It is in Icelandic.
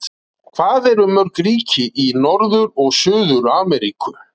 Hvað eru mörg ríki í Norður- og Suður-Ameríku?